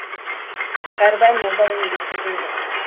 кәрібай молда оны ескерген жоқ